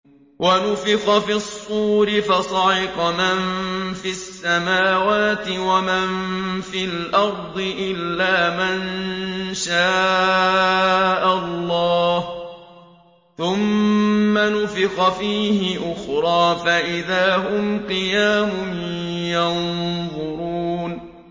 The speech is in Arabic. وَنُفِخَ فِي الصُّورِ فَصَعِقَ مَن فِي السَّمَاوَاتِ وَمَن فِي الْأَرْضِ إِلَّا مَن شَاءَ اللَّهُ ۖ ثُمَّ نُفِخَ فِيهِ أُخْرَىٰ فَإِذَا هُمْ قِيَامٌ يَنظُرُونَ